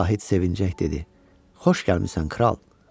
Zahid sevinclə dedi: Xoş gəlmisən, kral.